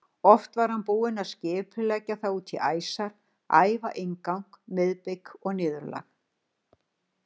Oft var hann búinn að skipuleggja það út í æsar, æfa inngang, miðbik og niðurlag.